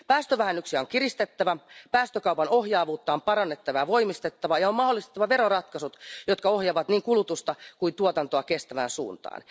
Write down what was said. Päästövähennyksiä on kiristettävä, päästökaupan ohjaavuutta on parannettava ja voimistettava ja on mahdollistettava veroratkaisut, jotka ohjaavat niin kulutusta kuin tuotantoa kestävään suuntaan.